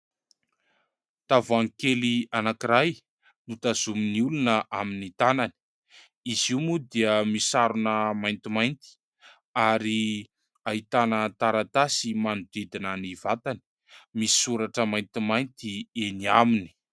Tavoahangy kely anankiray notazomin'ny olona amin'ny tanany. Izy io moa dia misarona maintimainty ary ahitana taratasy manodidina ny vatany, misoratra maintimainty eny aminy.